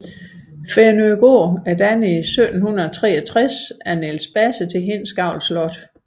Fænøgård er dannet i 1763 af Niels Basse til Hindsgavl Slot